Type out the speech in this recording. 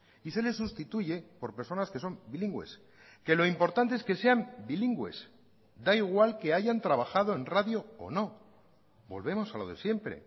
y se les sustituye por personas que son bilingües que lo importante es que sean bilingües da igual que hayan trabajado en radio o no volvemos a lo de siempre